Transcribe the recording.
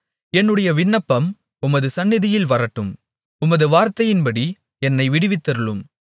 என்னுடைய விண்ணப்பம் உமது சந்நிதியில் வரட்டும் உமது வார்த்தையின்படி என்னை விடுவித்தருளும்